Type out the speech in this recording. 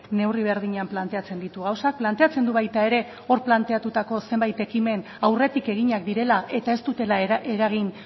neurri berdinean planteatzen ditu gauzak planteatzen du baita ere hor planteatutako zenbait ekimen aurretik eginak direla eta ez dutela eragin